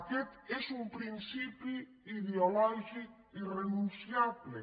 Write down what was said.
aquest és un principi ideològic irre·nunciable